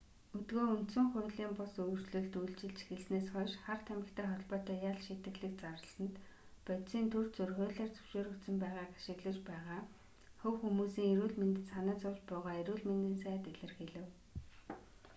өдгөө үндсэн хуулийн бус өөрчлөлт үйлчилж эхэлснээс хойш хар тамхитай холбоотой ял шийтгэлийг зарласанд бодисын түр зуур хуулиар зөвшөөрөгдсөн байгааг ашиглаж байгаа хувь хүмүүсийн эрүүл мэндэд санаа зовж буйгаа эрүүл мэндийн сайд илэрхийлэв